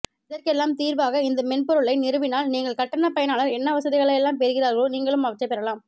இதற்கெல்லாம் தீர்வாக இந்த மென்பொருளை நிறுவினால் நீங்கள் கட்டணப்பயனாளர் என்ன வசதிகளை எல்லாம் பெறுகிறாரோ நீங்களும் அவற்றைப் பெறலாம்